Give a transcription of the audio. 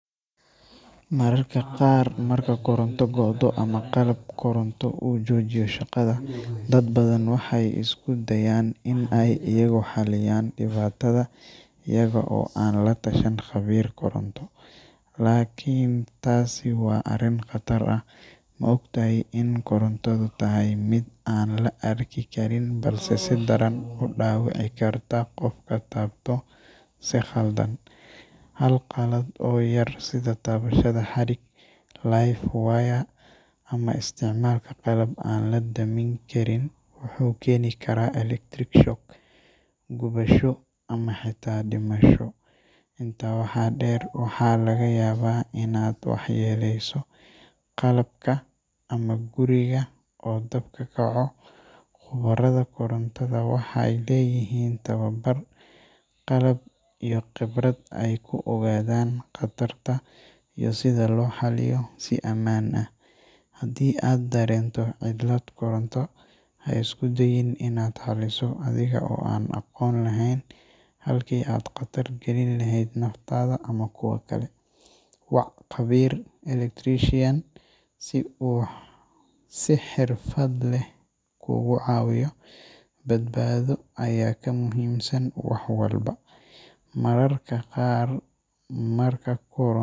Mararka qaar marka Korantada go'odo ama qalab Koronto uu jujiyo shaqada dad badan waxa iskudayan in aay iyagu xaliyan dipatada iyaga o aan latashan khabir Koronto. Laakin taasi wa arin qatar ah maogtahay in Koronto tahay mid aan laarki karin balse sidaran udawici karta qafka taabto si khaldan ha qalaad o yar sida taabashada xarig Live wir ama isticmalka qalab an ladamin karin wuxu keeni kara Electric shock gubaasho ama xeta dimaasho inta waxa dher waxa laga yaaba inad waxyeeleyso qalabka Ama guriga o dab kakaco. Khubarada Korantada waxay leeyahin tawabar qalab iyo khibrad ay kuogadan qatarta iyo sida loxaliyo sii amaan ah. Hadi ad dareento cilad Koronto haisku dayin inad xaliiso adiga o an aqoon laheyn into ad khatar galin laheyd naftada ama kuwa kale. Waac khabir [c] Electrician si xeerfad leh kugu caawiyo badbaado aya ka muhimsan waxwalba. Mararka qar marka Korantada